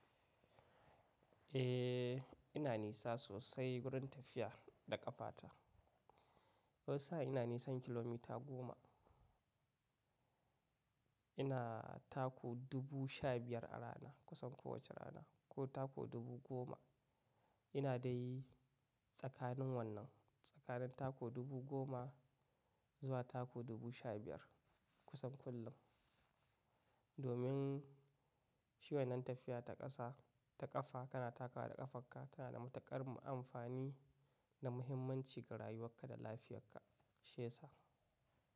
Eh ina nisa sosai wurin tafiya da ƙafa ta. Wani sa in ina nisan kilomita goma. Ina tako dubu sha biyar a rana kusan kowace rana ko tako dubu goma. Ina dai tsakanin wannan, tsakanin tako dubu goma zuwa tako dubu sha biyar kusan kullum. Domin shi wan nan tafiya ta ƙasa, ta ƙafa kana takawa da ƙafarka tana da matuƙar amfani da muhimmanci ga rayuwarka da lafiyar ka shiya sa.